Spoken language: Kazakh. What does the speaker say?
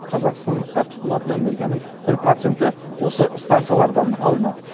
қазақстандықтар тұтынатын энергияның бір проценті осы станциялардан алынады